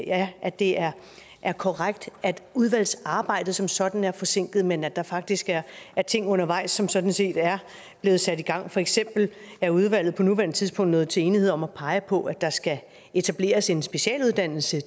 at at det er er korrekt at udvalgsarbejdet som sådan er forsinket men at der faktisk er er ting undervejs som sådan set er blevet sat i gang for eksempel er udvalget på nuværende tidspunkt nået til enighed om at pege på at der skal etableres en specialuddannelse